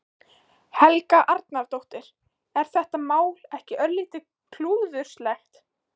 Helga Arnardóttir: Er þetta mál ekki örlítið klúðurslegt?